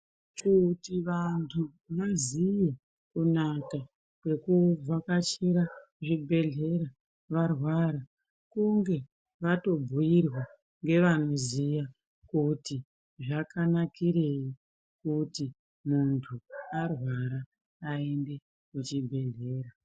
Kuti vantu vaziye kunaka kwekubvakachira zvibhedhlera varwara. Kunge vatombuirwa ngevanoziya kuti zvakanakirei kuti muntu arwara aende kuchibhedhlera.